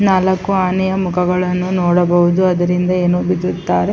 ನಾಲಕ್ಕು ಆನೆಯ ಮುಖಗಳನ್ನು ನೋಡಬಹುದು ಅದರಿಂದ ಏನೋ ಬಿದಿದ್ದಾರೆ --